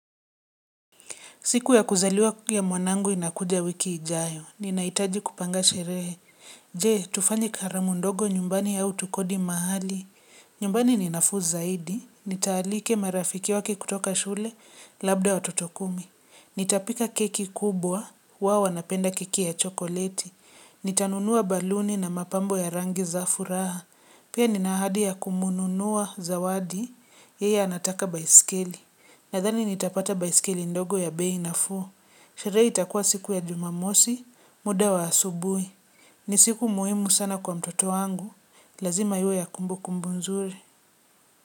Siku ya kuzaliwa ya mwanangu inakuja wiki ijayo, ninahitaji kupanga sherehe. Je, tufanye karamu ndogo nyumbani au tukodi mahali. Nyumbani ni nafuu zaidi, nitaalika marafiki wake kutoka shule, labda watoto kumi. Nitapika keki kubwa, wao wanapenda keki ya chokoleti. Nitanunua baluni na mapambo ya rangi za furaha. Pia nina ahadi ya kumnunua zawadi, yeye anataka baiskeli. Nadhani nitapata baiskeli ndogo ya bei nafuu. Sherehe itakuwa siku ya jumamosi, muda wa asubuhi. Ni siku muhimu sana kwa mtoto wangu. Lazima iwe ya kumbu kumbu nzuri.